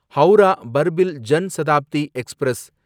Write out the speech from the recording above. Howrah Barbil Jan Shatabdi express